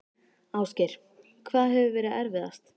Ásgeir: Hvað hefur verið erfiðast?